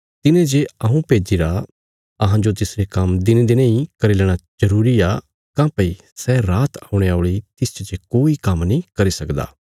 तिने जे हऊँ भेज्जिरा अहांजो तिसरे काम्म दिनेंदिनें इ करी लेणा जरूरी आ काँह्भई सै रात औणे औल़ी तिसच जे कोई काम्म नीं करी सकदा